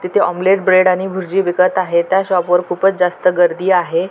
तिथे omelette bread आणि भुर्जी विकत आहे त्या शॉप वर खूपच जास्त गर्दी आहे.